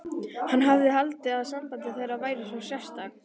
Hann sem hafði haldið að samband þeirra væri svo sérstakt.